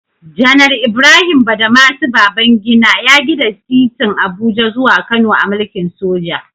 Janar Ibrahim Badamasi Babangida ya gina titin Abuja zuwa Kano a mulkin soja.